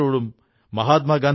വളരെ ചെറിയ സലൂൺ ആണ്